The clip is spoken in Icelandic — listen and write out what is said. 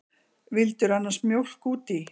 Vildirðu annars mjólk út í?